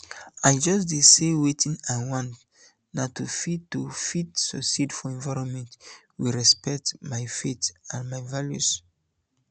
i just dey say wetin i want na to fit to fit succeed for environment wey respect my faith and my values